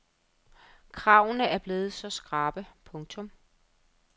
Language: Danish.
Kravene er blevet så skrappe. punktum